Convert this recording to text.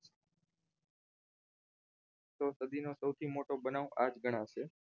તો સદી નો સૌથી મોટો બનાવ આ ગણાશે